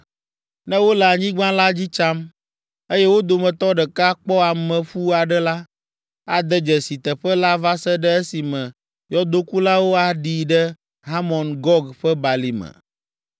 Ne wole anyigba la dzi tsam, eye wo dometɔ ɖeka kpɔ ameƒu aɖe la, ade dzesi teƒe la va se ɖe esime yɔdokulawo aɖii ɖe Hamɔn Gog ƒe Balime.